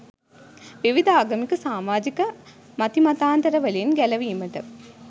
විවිධ ආගමික, සාමාජික මතිමතාන්තර වලින් ගැලවීමට